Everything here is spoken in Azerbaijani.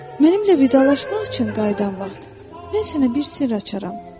Mənimlə vidalaşmaq üçün qayıdan vaxt mən sənə bir sirr açaram.